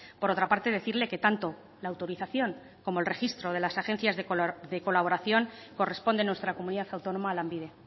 por otra parte decirle que tanto la autorización como el registro de las agencias de colaboración corresponde en nuestra comunidad autónoma a lanbide